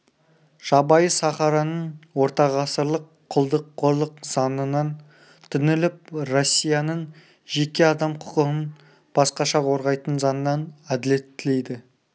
жабайы сахараның ортағасырлық құлдық-қорлық заңынан түңіліп россияның жеке адам құқығын басқаша қорғайтын заңынан әділет тілейді